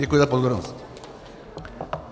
Děkuji za pozornost.